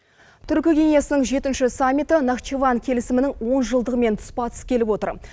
түркі кеңесінің жетінші саммиті нахчыван келісімінің он жылдығымен тұспа тұс келіп отыр